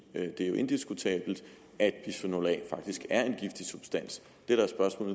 er jo indiskutabelt at bisfenol a faktisk er en giftig substans